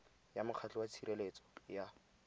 ya mokgatlho wa tshireletso ya